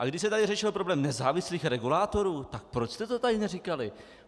A když se tady řešil problém nezávislých regulátorů, tak proč jste to tady neříkali?